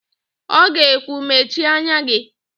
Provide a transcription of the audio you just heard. Ọ ga-ekwu, "mechie anya gị"!